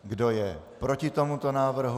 Kdo je proti tomuto návrhu?